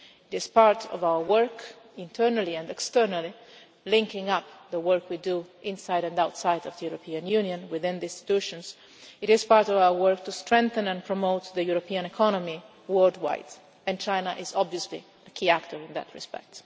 This part of our work, internally and externally, linking up the work we do inside and outside of the European Union within the institutions is part of our work to strengthen and promote the European economy worldwide, and China is obviously a key actor in that respect.